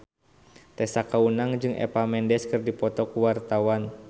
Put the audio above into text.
Tessa Kaunang jeung Eva Mendes keur dipoto ku wartawan